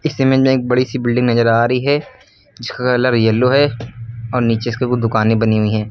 इस में एक बड़ी सी बिल्डिंग नजर आ रही है कलर येलो है और नीचे इसके कु दुकानें बनी हुई है।